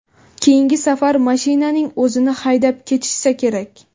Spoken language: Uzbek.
Keyingi safar mashinaning o‘zini haydab ketishsa kerak.